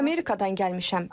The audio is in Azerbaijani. Mən Amerikadan gəlmişəm.